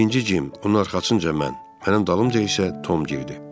Birinci Cim, onun arxasınca mən, mənim dalımca isə Tom girdi.